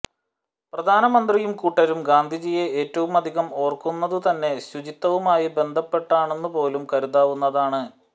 പ്രധാനമന്ത്രിയും കൂട്ടരും ഗാന്ധിജിയെ ഏറ്റവുമധികം ഓർക്കുന്നതുതന്നെ ശുചിത്വവുമായി ബന്ധപ്പെട്ടാണെന്നുപോലും കരുതാവുന്നതാണ്